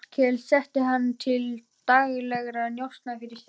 Það var barið að dyrum og Vigdís opnaði.